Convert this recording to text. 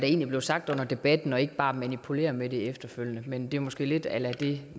egentlig blev sagt under debatten og ikke bare manipulere med det efterfølgende men det er måske lidt a la det